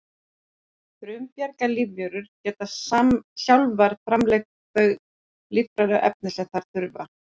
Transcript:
frumbjarga lífverur geta sjálfar framleitt þau lífrænu efni sem þær þurfa